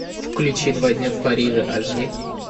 включи два дня в париже аш ди